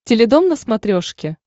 теледом на смотрешке